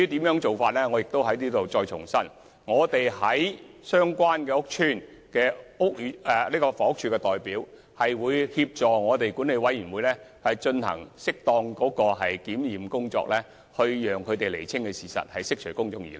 我在此再重申，房委會在相關屋邨的代表會協助管委會進行適當的檢驗工作，釐清事實，以釋除公眾疑慮。